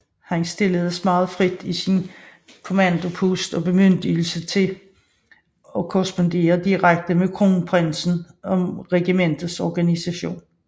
Han stilledes meget frit i sin kommandopost og bemyndigedes til at korrespondere direkte med kronprinsen om regimentets organisation